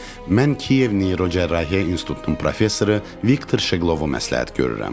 mən Kiyev neyrocərrahiyyə institutunun professoru Viktor Şeqlovu məsləhət görürəm.